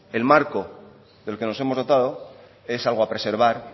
el marco del que nos hemos dotado es algo a preservar